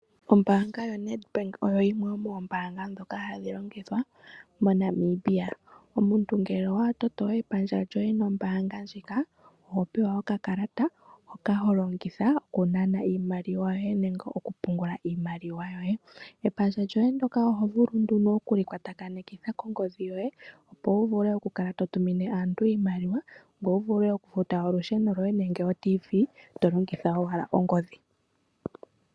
Ombaanga yoNedbank oyo yimwe yomoombaanga ndhoka hadhi longithwa moNamibia. Omuntu ngele owa toto epandja lyoye nombaanga ndjika oho pewa okakalata hoka ho longitha oku nana iimaliwa yoye nenge okupungula iimaliwa yoye. Epandja lyoye oho vulu nduno okuli kwatakanitha kongodhi yoye opo wu vule oku kala to tumine aantu iimaliwa, ngoye wu vule okufuta olusheno lwoye nenge oRadio yomuzizimba, to longitha owala ongodhi